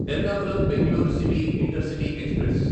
Ernakulam Bangalore city intercity express